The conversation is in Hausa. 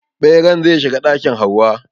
Ɓeran zai shiga ɗakin Hauwa.